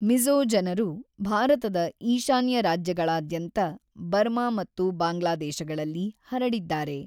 ಮಿಜ಼ೋ ಜನರು ಭಾರತದ ಈಶಾನ್ಯ ರಾಜ್ಯಗಳಾದ್ಯಂತ, ಬರ್ಮಾ ಮತ್ತು ಬಾಂಗ್ಲಾದೇಶಗಳಲ್ಲಿ ಹರಡಿದ್ದಾರೆ.